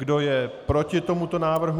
Kdo je proti tomuto návrhu?